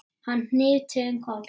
Hann hnyti um koll!